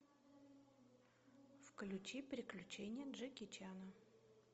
включи приключения джеки чана